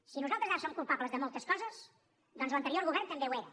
si nosaltres ara som culpables de moltes coses doncs l’anterior govern també ho era